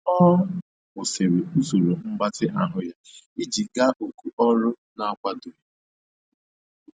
Ọ kwụsịrị usoro mgbatị ahụ ya iji gaa oku ọrụ na-akwadoghị.